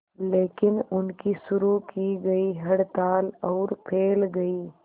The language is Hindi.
लेकिन उनकी शुरू की गई हड़ताल और फैल गई